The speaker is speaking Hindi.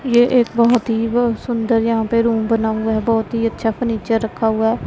ये एक बहुत ही व सुंदर यहां पे रूम बना हुआ है बहुत ही अच्छा फर्नीचर रखा हुआ है।